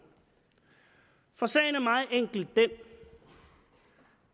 for sagen er meget enkelt den